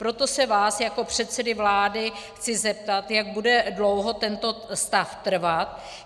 Proto se vás jako předsedy vlády chci zeptat, jak bude dlouho tento stav trvat.